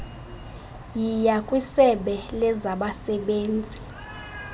yiya kwisebe lezabasebenzi